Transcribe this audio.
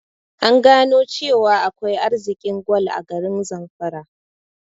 An gano cewa akwai arzikin gwal a garin zamfara